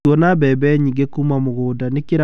Tuona mbembe nyingĩ kuuma mũgũnda, nĩ kĩrathimo kĩnene.